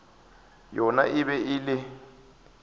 gona e be e le